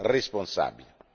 modo responsabile.